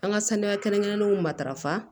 An ka saniya kɛrɛnkɛrɛnnenw matarafa